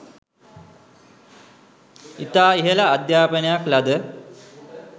ඉතා ඉහළ අධ්‍යාපනයක් ලද